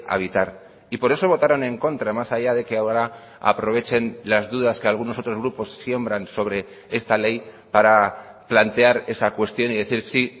habitar y por eso votaron en contra más allá de que ahora aprovechen las dudas que algunos otros grupos siembran sobre esta ley para plantear esa cuestión y decir sí